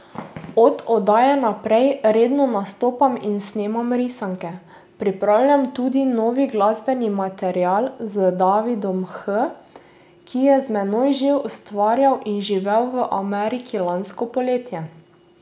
Od oddaje naprej redno nastopam in snemam risanke, pripravljam tudi novi glasbeni material z Davidom H, ki je z mano že ustvarjal in živel v Ameriki lansko poletje.